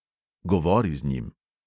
Govori z njim.